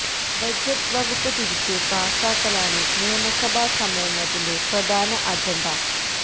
budget വകുപ്പ് തിരിച്ച് പാസാക്കലാണ് നിയമസഭാ സമ്മേളനത്തിന്റെ പ്രധാന അജണ്ട